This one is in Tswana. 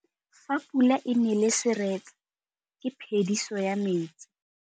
Fa pula e nelê serêtsê ke phêdisô ya metsi.